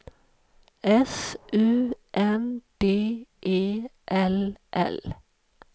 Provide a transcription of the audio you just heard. S U N D E L L